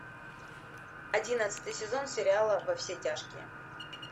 одиннадцатый сезон сериала во все тяжкие